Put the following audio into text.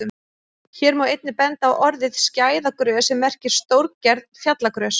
Hér má einnig benda á orðið skæðagrös sem merkir stórgerð fjallagrös.